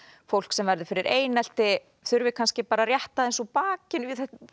fólk sem verður fyrir einelti þurfi kannski bara rétta aðeins úr bakinu